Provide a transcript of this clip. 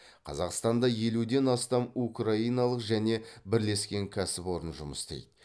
қазақстанда елуден астам украиналық және бірлескен кәсіпорын жұмыс істейді